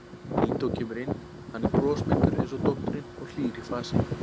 Lídó kemur inn, hann er brosmildur eins og dóttirin og hlýr í fasi.